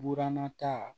Buran ta